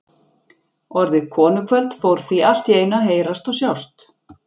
Orðið konukvöld fór því allt í einu að heyrast og sjást.